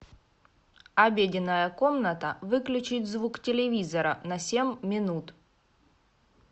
обеденная комната выключить звук телевизора на семь минут